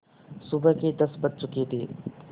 सुबह के दस बज चुके थे